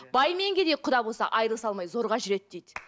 бай мен кедей құда болса айрылыса алмай зорға жүреді дейді